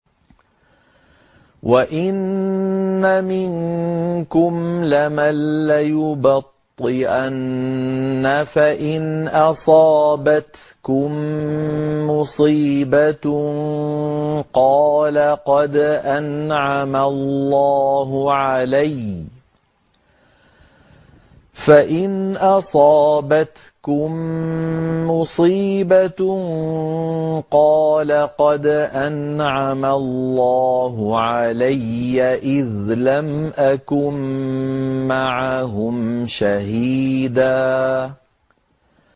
وَإِنَّ مِنكُمْ لَمَن لَّيُبَطِّئَنَّ فَإِنْ أَصَابَتْكُم مُّصِيبَةٌ قَالَ قَدْ أَنْعَمَ اللَّهُ عَلَيَّ إِذْ لَمْ أَكُن مَّعَهُمْ شَهِيدًا